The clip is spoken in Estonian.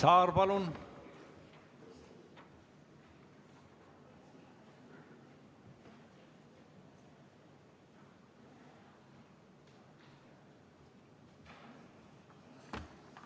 Indrek Saar, palun!